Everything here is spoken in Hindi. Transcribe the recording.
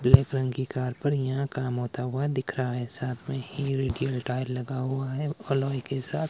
ब्लैक रंग की कार पर यहां काम होता हुआ दिख रहा है साथ में टायर लगा हुआ है एलॉय के साथ।